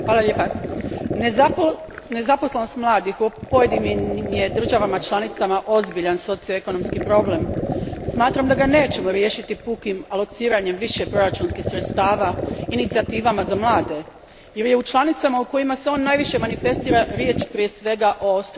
Gospodine predsjedniče, nezaposlenost mladih u pojedinim je državama članicama ozbiljan socioekonomski problem. Smatram da ga nećemo riješiti pukim alociranjem više proračunskih sredstava, inicijativama za mlade, jer je u članicama u kojima se on najviše manifestira riječ prije svega o strukturnim problemima.